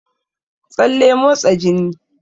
Tsalle motsa jini